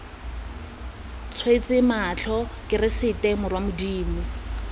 tswetse matlho keresete morwa modimo